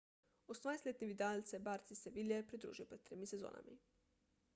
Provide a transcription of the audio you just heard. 28-letni vidal se je barci iz seville pridružil pred tremi sezonami